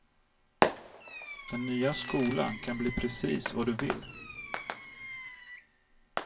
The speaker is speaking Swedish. Den nya skolan kan bli precis vad du vill.